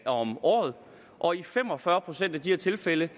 om året og i fem og fyrre procent af de her tilfælde